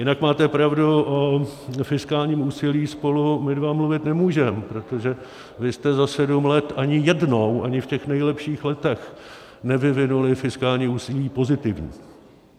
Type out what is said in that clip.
Jinak máte pravdu, o fiskálním úsilí spolu my dva mluvit nemůžeme, protože vy jste za sedm let ani jednou, ani v těch nejlepších letech, nevyvinuli fiskální úsilí pozitivní.